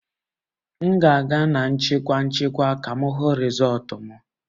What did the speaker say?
M ga-aga na nchịkwa nchịkwa ka m hụ rịzọlt m